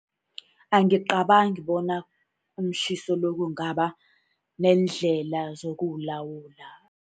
Angicabangi bona umtjhiso lo kungaba neendlela zokuwulawula.